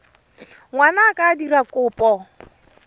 ngwana a ka dira kopo